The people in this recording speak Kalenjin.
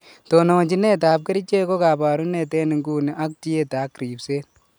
Tononjinet ab kerichek ko kabarunet en nguni ak tiet ak ribset